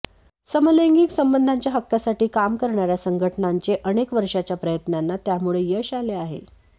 समलैंगिक संबंधांच्या हक्कासाठी काम करणाऱ्या संघटनांचे अनेक वर्षांच्या प्रयत्नांना त्यामुळे यश आले आहे